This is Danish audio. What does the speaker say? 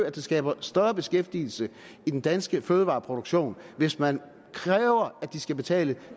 at det skaber større beskæftigelse i den danske fødevareproduktion hvis man kræver at de skal betale